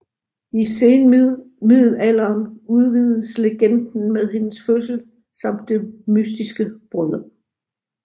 I senmiddelalderen udvides legenden med hendes fødsel samt det mystiske bryllup